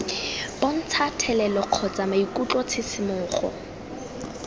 bontsha thelelo kgotsa maikutlo tshisimogo